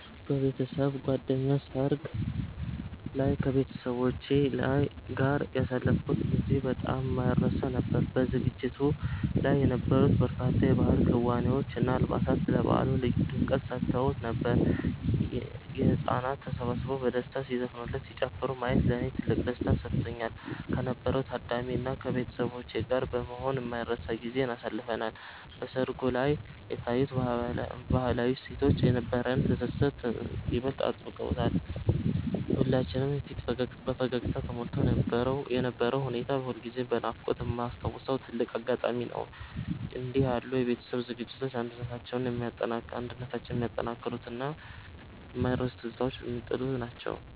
በቤተሰብ ጓደኛ ሰርግ ላይ ከቤተሰቦቼ ጋር ያሳለፍኩት ጊዜ በጣም የማይረሳ ነበር። በዝግጅቱ ላይ የነበሩት በርካታ የባህል ክዋኔዎች እና አልባሳት ለበዓሉ ልዩ ድምቀት ሰጥተውት ነበር። ህጻናት ተሰብስበው በደስታ ሲዘፍኑና ሲጨፍሩ ማየት ለኔ ትልቅ ደስታን ሰጥቶኛል። ከነበረው ታዳሚ እና ከቤተሰቦቼ ጋር በመሆን የማይረሳ ጊዜን አሳልፈናል። በሰርጉ ላይ የታዩት ባህላዊ እሴቶች የነበረንን ትስስር ይበልጥ አጥብቀውታል። የሁላችንም ፊት በፈገግታ ተሞልቶ የነበረው ሁኔታ ሁልጊዜም በናፍቆት የማስታውሰው ትልቅ አጋጣሚ ነው። እንዲህ ያሉ የቤተሰብ ዝግጅቶች አንድነታችንን የሚያጠናክሩና የማይረሱ ትዝታዎችን የሚጥሉ ናቸው።